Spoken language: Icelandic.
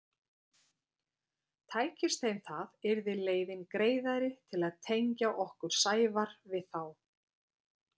Tækist þeim það yrði leiðin greiðari til að tengja okkur Sævar við þá.